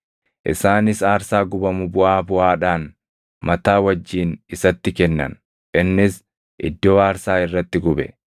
Isaanis aarsaa gubamu buʼaa buʼaadhaan, mataa wajjin isatti kennan; innis iddoo aarsaa irratti gube.